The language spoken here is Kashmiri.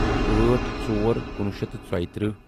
ٲٹھ ژور کُنوُہ شیٚتھ تہٕ ژۄیہِ تٕرہہ